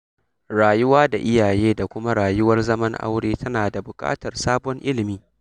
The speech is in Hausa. Rayuwa da iyaye da kuma rayuwar zaman aure tana buƙatar sabon ilimi.